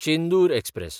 Chendur express